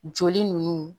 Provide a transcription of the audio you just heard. Joli nunnu